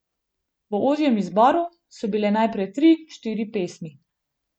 V ožjem izboru so bile najprej tri, štiri pesmi.